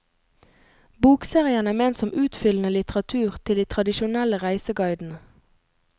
Bokserien er ment som utfyllende litteratur til de tradisjonelle reiseguidene.